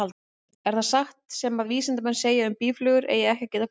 Er það satt sem að vísindamenn segja um að býflugur eigi ekki að geta flogið?